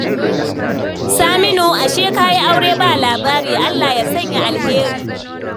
Saminu, ashe ka yi aure ba labari. Allah ya sanya alheri